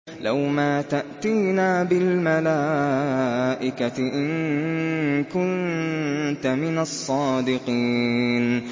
لَّوْ مَا تَأْتِينَا بِالْمَلَائِكَةِ إِن كُنتَ مِنَ الصَّادِقِينَ